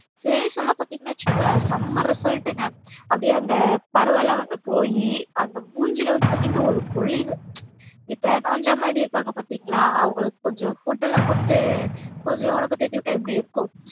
face ல பாத்திங்கன்னா வச்சுங்கள செம்ம result ங்க அப்டி அந்த பருவெல்லாம் வந்து போய் அந்த மூஞ்சில வந்து பாத்திங்கன்னா ஒரு பொலிவு இப்ப நோஞ்சா மாறி இருப்பாங்க பாத்திங்களா அவங்களுக்கு கொஞ்சம் food லா குடுத்து கொஞ்சம் ஒடம்பு தேத்திவிட்டா எப்டி இருக்கும்